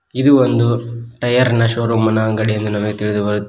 ಇದು ಒಂದು ಟೈಯರ್ನ ಶೋರೂಮಿನ ಅಂಗಡಿ ಎಂದು ನಮಗೆ ತಿಳಿದು ಬರುತ್--